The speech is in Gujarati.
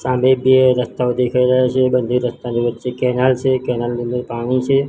સામે બે રસ્તાઓ દેખાઈ રહ્યા છે બંને રસ્તાની વચ્ચે કેનલ છે કેનલ ની અંદર પાણી છે.